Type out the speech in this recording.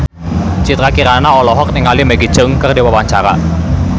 Citra Kirana olohok ningali Maggie Cheung keur diwawancara